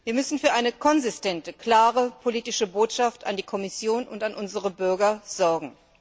Wir müssen für eine konsistente klare politische Botschaft an die Kommission und an unsere Bürger sorgen.